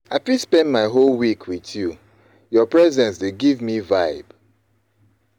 I fit spend my whole week with you, your presence dey give me vibe.